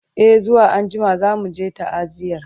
e zuwa anjima zamuje ta'aziyar